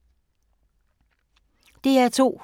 DR2